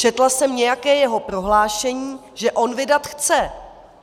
Četla jsem nějaké jeho prohlášení, že on vydat chce.